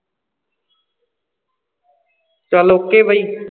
ਚੱਲ OK ਬਾਈ